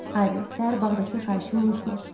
Harri, səhər bağdakı xahişimi unutma.